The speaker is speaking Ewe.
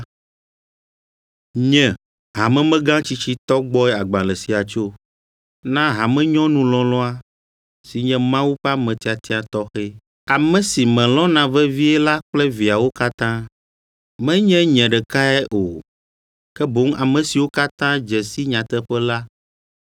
Nye, hamemegã tsitsitɔ gbɔe agbalẽ sia tso, Na hamenyɔnu lɔlɔ̃a si nye Mawu ƒe ame tiatia tɔxɛ, ame si melɔ̃na vevie la kple viawo katã. Menye nye ɖekae o, ke boŋ ame siwo katã dze si nyateƒe la